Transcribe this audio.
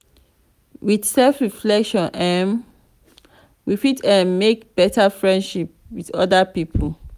with self reflection um we fit um make better friendship with oda pipo